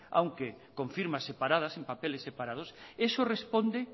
aunque con firmas separas en papeles separados eso responde